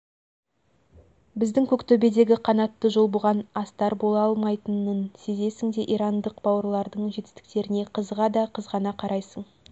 біздің көктөбедегі қанатты жол бұған астар бола алмайтынын сезесің де ирандық бауырлардың жетістіктеріне қызыға да қызғана қарайсың